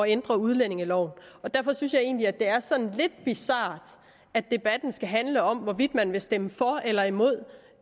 ændre udlændingeloven og derfor synes jeg egentlig at det er sådan lidt bizart at debatten skal handle om hvorvidt man vil stemme for eller imod